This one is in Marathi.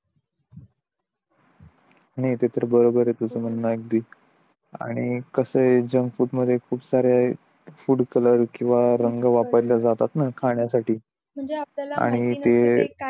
नाही ते तर बरोबर आहे तुझं म्हणा अगदी आणि कस आहे जंक फूड मध्ये खूप सारे फूड कलर किंवा रंग वापरले जातात ना खाण्यासाठी म्हणजे आपल्याला